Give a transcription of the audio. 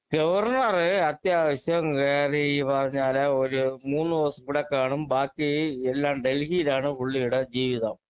governor അത്യാവശ്യം ഏറി പറഞ്ഞാല് ഒരു മൂന്ന് ദിവസം ഇവിടെ കാണും ബാക്കി എല്ലാം ഡൽഹിയിലാണ് പുള്ളീടെ ജീവിതം